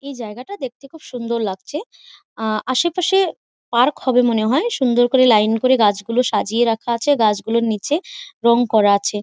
এই জায়গাটা দেখতে খুব সুন্দর লাগছে। আ আশেপাশে-এ পার্ক হবে মনে হয়। সুন্দর করে লাইন করে গাছগুলো সাজিয়ে রাখা আছে গাছগুলোর নিচে রং করা আছে।